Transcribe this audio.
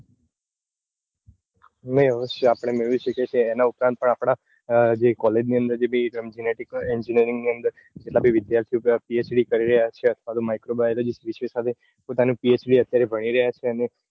નઈ અવયસ્ય આપડે મેળવી શકીએ છીએ એના ઉપરાંત પણ આપડી college ની અંદર બે engineering ની અંદર પેલા બે વિધાર્થી PhD કરી રહ્યા છે અથવા micro biology સાથે પોતાની PhD અત્યારે ભણી રહ્યા છે અને